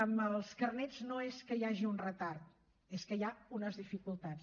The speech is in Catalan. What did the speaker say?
amb els carnets no és que hi hagi un retard és que hi ha unes dificultats